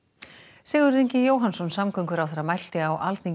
Sigurður Ingi Jóhannsson samgönguráðherra mælti á Alþingi